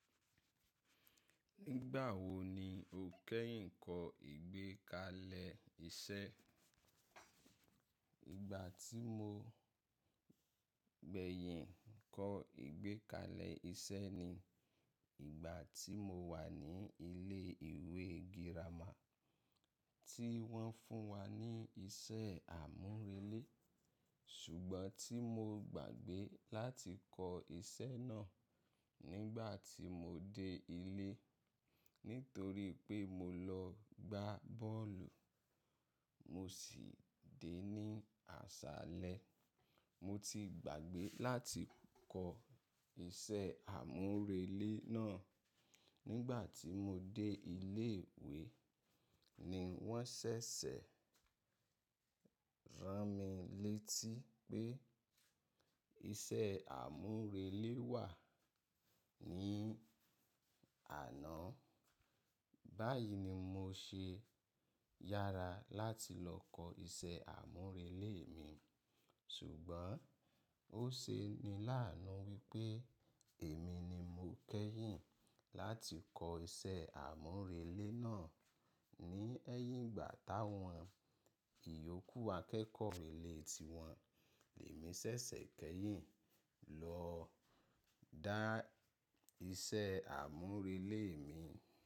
Nígbà wo ni o kẹ́yìn kọ ìgbékalẹ̀ iṣẹ́? Ìgbà tí mo gbẹ̀yìn kọ ìgbékalẹ̀ iṣẹ́ ni ìgbà tí mo wà ní ilé ìwé girama tí wọ́n fún wa ní iṣẹ́ àmúrelé. Ṣùgbọ́n tí mo gbàgbé láti kọ iṣẹ́ náà nígbà tí mo dé ilé nítorí pé mo lọ gbá bọ́ọ̀lù, mo sì dé ní àṣálẹ́. Mo ti gbàgbé láti kọ iṣẹ́ àmúrelé náà nígbà tí mo dé ilé ìwé ni wọ́n ṣẹ̀ṣẹ̀ rán mi létí pé iṣẹ́ àmúrelé wà ní àná. Báyìí ni mo ṣe yára láti lọ kọ iṣẹ́ àmúrelé mi, ṣùgbọ́n ó ṣe ni láànú wípé èmi ni mo kẹ́yìn láti kọ iṣẹ́ àmúrelé náà ní ẹyín igbà táwọn ìyókù akẹ́kọ̀ọ́ rélé ti wọn. Èmi ṣẹ̀ṣẹ̀ kẹ́yìn lọ dá iṣẹ́ àmúrelé mi.